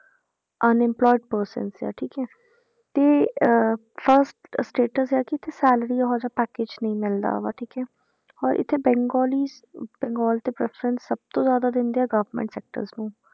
unemployed persons ਆ ਠੀਕ ਹੈ, ਤੇ ਅਹ first status ਹੈ ਕਿ ਇੱਥੇ salary ਉਹ ਜਿਹਾ package ਨਹੀਂ ਮਿਲਦਾ ਵਾ ਠੀਕ ਹੈ ਔਰ ਇੱਥੇ ਬੇੰਗਾਲਿਸ ਅਹ ਬੰਗਾਲ ਤੇ preference ਸਭ ਤੋਂ ਜ਼ਿਆਦਾ ਦਿੰਦੇ ਆ government sectors ਨੂੰ,